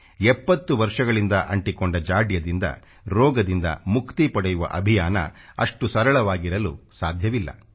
70 ರ್ಷಗಳಿಂದ ಅಂಟಿಕೊಂಡ ಜಾಡ್ಯದಿಂದ ರೋಗದಿಂದ ಮುಕ್ತಿ ಪಡೆಯುವ ಅಭಿಯಾನ ಅಷ್ಟು ಸರಳವಾಗಿರಲು ಸಾಧ್ಯವಿಲ್ಲ